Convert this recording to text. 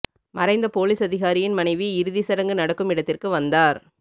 மறைந்த போலீஸ் அதிகாரியின் மணைவி இறுதி சடங்கு நடக்கும் இடத்திற்கு வந்தார்